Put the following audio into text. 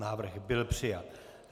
Návrh byl přijat.